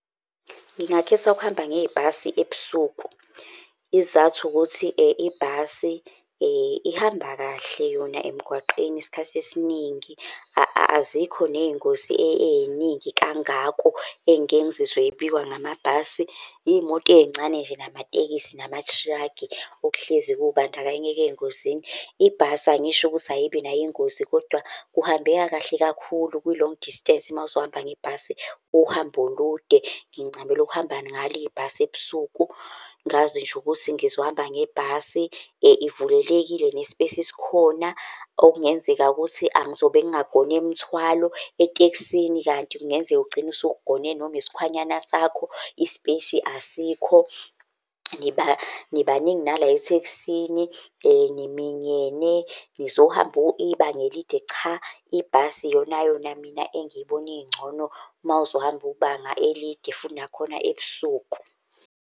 Ngingakhetha ukuhamba ngebhasi ebusuku. Isizathu ukuthi ibhasi ihamba kahle yona emgwaqeni isikhathi esiningi, azikho ney'ngozi ey'ningi kangako engike ngizizwe zibikwa ngamabhasi. Iy'moto ey'ncane nje, namatekisi, namathilakhi okuhlezi kubandakanyeka ey'ngozini. Ibhasi angisho ukuthi ayibi nayo ingozi, kodwa kuhambeka kahle kakhulu kwi-long distance mawuzohamba ngebhasi uhambo olude. Ngincamela ukuhamba ngalo ibhasi ebusuku, ngazi nje ukuthi ngizohamba ngebhasi. Ivulelekile ne-space sikhona, okungenzeka ukuthi angizobe ngingagone mthwalo. Etekisini kanti kungenzeka ugcine usugone noma isikhwanyana sakho, i-space asikho, nibaningi nala etheksini, niminyene, nizohamba ibangelide. cha. Ibhasi iyonayona mina engiyibona ingcono mawuzohamba ibanga elide futhi nakhona ebusuku.